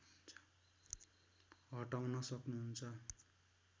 हटाउन सक्नुहुन्छ